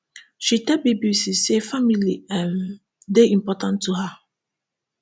she tell bbc say family um dey important to her